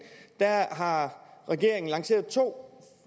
har regeringen lanceret to